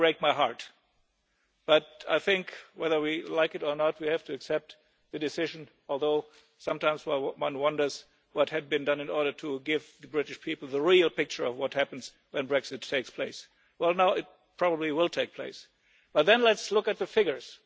Brexit can break my heart, but I think that, whether we like it or not, we have to accept the decision, although sometimes one wonders what had been done in order to give the British people the real picture of what will happen when Brexit takes place. It probably will take place, but let's look at the figures.